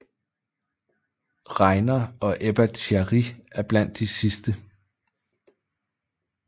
Rainer og Ebba Thierry er blandt de sidste